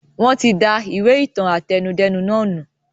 Wọn tí da ìwé ìtàn àtẹnudẹ́nu nàá nù